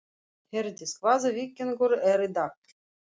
Herdís, hvaða vikudagur er í dag?